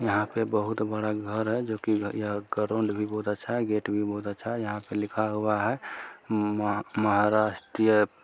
यहाँ बहुत बड़ा घर है जो की यहाँ का ग्राउन्ड भी बहुत अच्छा है गेट भी बहुत अच्छा है यहाँ पे लिखा हुआ है महा महाराष्ट्रीय--